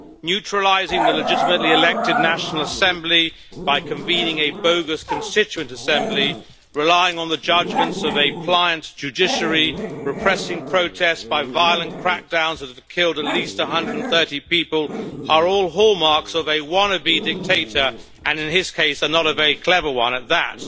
Neutralising the legitimately elected National Assembly by convening a bogus constituent assembly, relying on the judgments of a pliant judiciary, repressing protests by violent crackdowns that have killed at least 130 people are all hallmarks of a wannabe dictator and, in his case, not a very clever one at that.